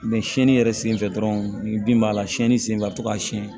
sɛni yɛrɛ sen fɛ dɔrɔn ni bin b'a la sɛni sen fɛ a be to ka sɛn